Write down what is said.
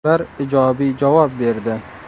Ular ijobiy javob berdi.